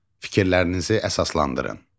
Fikirlərinizi əsaslandırın.